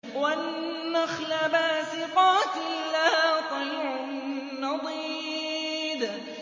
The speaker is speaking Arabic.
وَالنَّخْلَ بَاسِقَاتٍ لَّهَا طَلْعٌ نَّضِيدٌ